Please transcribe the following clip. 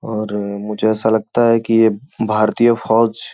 और मुझे ऐसा लगता है कि ये भारतीय फौज --